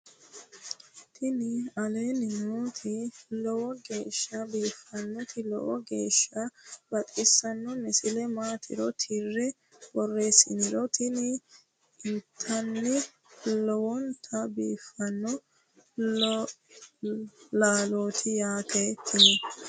tini aleenni nooti lowo geeshsha biiffinnoti lowo geeshsha baxissanno misile maatiro tirre borreessiniro tini intanni lowonta biiffanno laalooti yaate tini